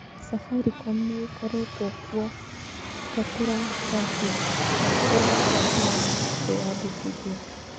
Safaricom nĩ ĩkoretwo kuo ta tũratathi twa kũruta marũa ma kwĩandĩkithia.